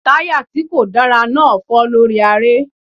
Táyà tí kò dára náà fọ́ lórí aré.